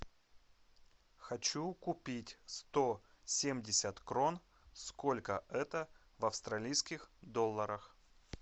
хочу купить сто семьдесят крон сколько это в австралийских долларах